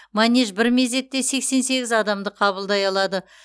манеж бір мезетте сексен сегіз адамды қабылдай алады